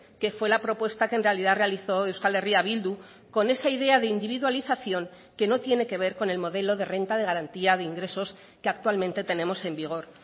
que fue la propuesta que en realidad realizó euskal herria bildu con esa idea de individualización que no tiene que ver con el modelo de renta de garantía de ingresos que actualmente tenemos en vigor